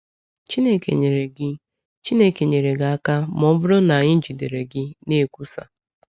Chineke nyere gị Chineke nyere gị aka ma ọ bụrụ na anyị jidere gị na-ekwusa.”